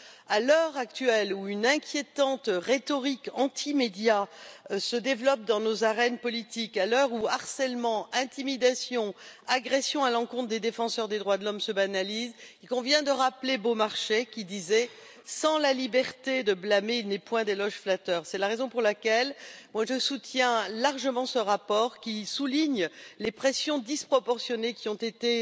À l'heure actuelle, où une inquiétante rhétorique anti médias se développe dans nos arènes politiques, à l'heure où harcèlement, intimidations et agressions à l'encontre des défenseurs des droits de l'homme se banalisent, il convient de rappeler Beaumarchais, qui disait Sans la liberté de blâmer, il n'est point d'éloge flatteur. C'est la raison pour laquelle je soutiens largement ce rapport qui souligne les pressions disproportionnées qui ont été